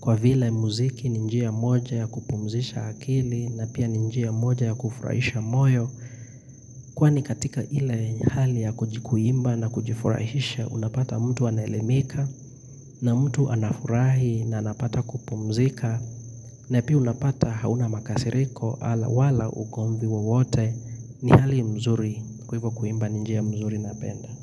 Kwa vila muziki ni njia moja ya kupumzisha akili na pia ni njia moja ya kufurahisha moyo. Kwani katika ila hali ya kujiku kuimba na kujifurahisha, unapata mtu anaelemika na mtu anafurahi na anapata kupumzika. Na pia unapata hauna makasiriko ala wala ugomvi wowote ni hali mzuri kwa ivo kuimba ni njia mzuri napenda.